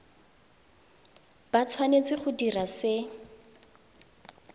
ba tshwanetse go dira se